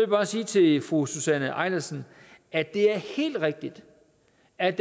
jeg bare sige til fru susanne eilersen at det er helt rigtigt at